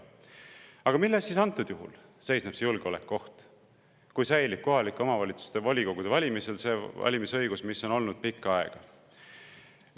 Aga milles siis antud juhul seisneb see julgeolekuoht, kui kohaliku omavalitsuse volikogu valimistel säilib valimisõigus, mis on olnud pikka aega?